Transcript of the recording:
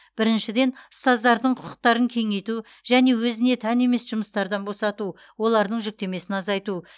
біріншіден ұстаздардың құқықтарын кеңейту және өзіне тән емес жұмыстардан босату олардың жүктемесін азайту